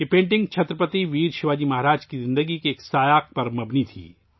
یہ پینٹنگ چھترپتی ویر شیواجی مہاراج کی زندگی کے ایک واقعے پر مبنی تھی